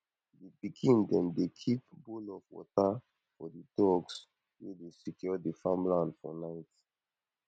di pikin dem dey keep bowl of water for di dogs wey dey secure di farmland for night